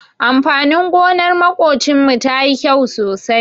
Amfanin gonar maƙocinmu tayi kyau sosai.